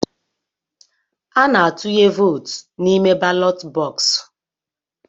Ana-atụnye vootu n'ime balọt bọksụ̀.